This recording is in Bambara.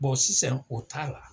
sisan o t'a la.